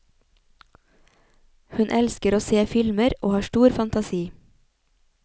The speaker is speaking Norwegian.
Hun elsker å se filmer og har stor fantasi.